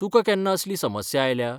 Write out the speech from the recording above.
तुकां केन्ना असली समस्या आयल्या?